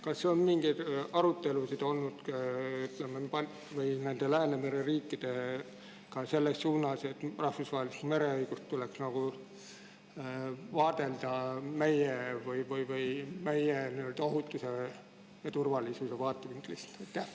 Kas Läänemere riikidega on olnud mingeid arutelusid selle üle, et rahvusvahelist mereõigust tuleks vaadelda meie ohutuse ja turvalisuse vaatevinklist?